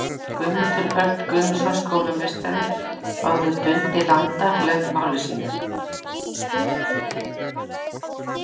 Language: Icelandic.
Guðmundur Örn Guðmundsson skólameistari, áður Dundi landa, lauk máli sínu.